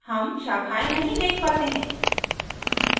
हम शाखाएं नहीं देख पाते हैं